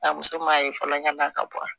A muso m'a ye fɔlɔ ɲana ka bɔ